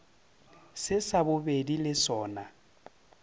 se sa bobedi le sona